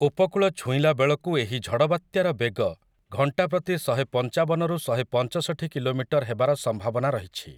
ଉପକୂଳ ଛୁଇଁଲା ବେଳକୁ ଏହି ଝଡ଼ବାତ୍ୟାର ବେଗ ଘଣ୍ଟା ପ୍ରତି ଶହେପଞ୍ଚାବନ ରୁ ଶହେପଞ୍ଚଷଠି କିଲୋମିଟର୍ ହେବାର ସମ୍ଭାବନା ରହିଛି ।